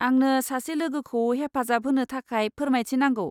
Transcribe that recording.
आंनो सासे लोगोखौ हेफाजाब होनो थाखाय फोरमायथि नांगौ।